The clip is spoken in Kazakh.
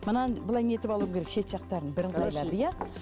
мынаны былай не етіп алуың керек шет жақтарын бірыңғайлап иә